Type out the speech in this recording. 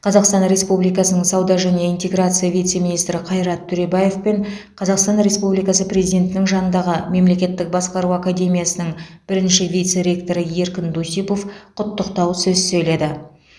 қазақстан республикасының сауда және интеграция вице министрі қайрат төребаев пен қазақстан республикасы президентінің жанындағы мемлекеттік басқару академиясының бірінші вице ректоры еркін дусипов құттықтау сөз сөйледі